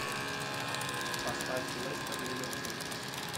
поставь лестер ливерпуль